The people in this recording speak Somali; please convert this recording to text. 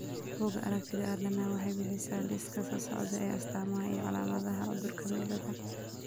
Bugaa aragtida aDdanaha waxay bixisaa liiska soo socda ee astamaha iyo calaamadaha cudurka Meleda.